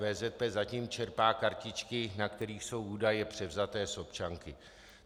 VZP zatím čerpá kartičky, na kterých jsou údaje převzaté z občanky.